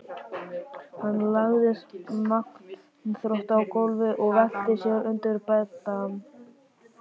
Hann lagðist magnþrota á gólfið og velti sér undir beddann.